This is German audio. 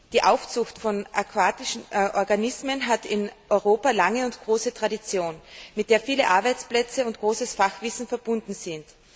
Die Aufzucht von aquatischen Organismen hat in Europa eine lange und große Tradition, mit der viele Arbeitsplätze und großes Fachwissen verbunden sind.